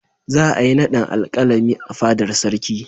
Za a yi naɗin Alƙalami a fadar Sarki.